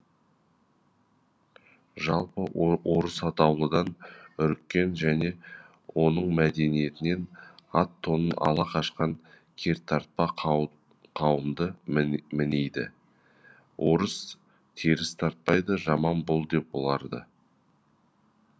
жалпы орыс атаулыдан үріккен және оның мәдениетінен ат тонын ала қашқан кертартпа қауымды мінейді орыс теріс айтпайды жаман бол деп оларды